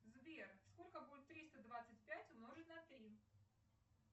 сбер сколько будет триста двадцать пять умножить на три